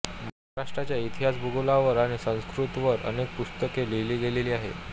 महाराष्ट्राच्या इतिहासभूगोलावर आणि संस्कृतीवर अनेक पुस्तके लिहिली गेली आहेत